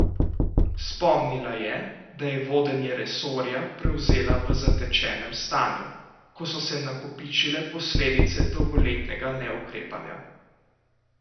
Spomnila je, da je vodenje resorja prevzela v zatečenem stanju, ko so se nakopičile posledice dolgoletnega neukrepanja.